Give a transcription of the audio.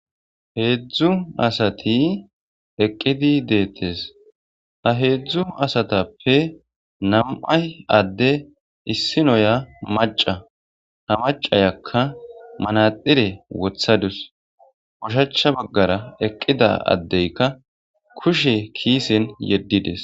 heedzdzu asati eqqidi deettes a heedzdzu asatappe nam'ay adde issinoya maca ha macayakka manadxire wothadus ushacha baggara eqqida addeyka kushe kiisen yeddides